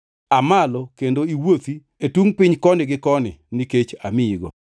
Aa malo kendo iwuothi e tungʼ piny koni gi koni, nikech amiyigo.”